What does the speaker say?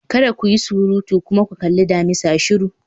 Kada ku yi surutu! kuma ki kalli damisa shiru